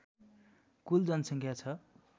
कुल जनसङ्ख्या छ